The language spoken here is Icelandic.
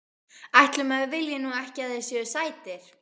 Ætli maður vilji nú ekki að þeir séu sætir.